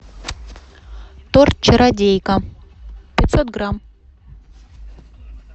торт чародейка пятьсот грамм